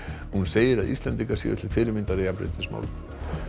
hún segir að Íslendingar séu til fyrirmyndar í jafnréttismálum